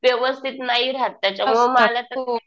व्यवस्थित नाही राहात. त्याच्यामुळे मला ते